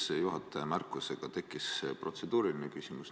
Seoses juhataja märkusega tekkis mul protseduuriline küsimus.